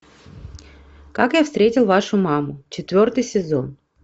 как я встретил вашу маму четвертый сезон